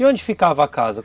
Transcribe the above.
E onde ficava a casa?